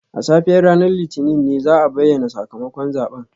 A safiyar ranar Litinin ne za a bayyana sakamakon zaben